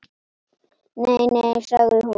Nei, nei sagði hún.